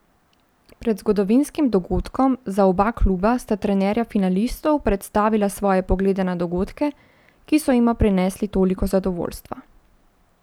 Pred zgodovinskim dogodkom za oba kluba sta trenerja finalistov predstavila svoje poglede na dogodke, ki so jima prinesli toliko zadovoljstva.